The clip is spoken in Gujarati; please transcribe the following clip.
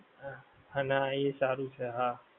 હા હાના એ સારું છે હા